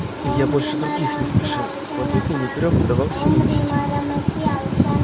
илья больше других не спешил в потоке не грёб давал себя нести